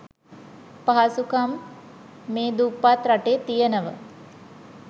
පහසුකම් මේ දුප්පත් රටේ තියෙනව.